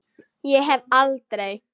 Ég hef aldrei.